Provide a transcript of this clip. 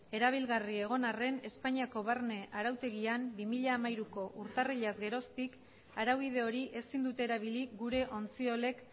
erabilgarri egon arren espainiako barne arautegian bi mila hamairuko urtarrilaz geroztik araubide hori ezin dute erabili gure ontziolek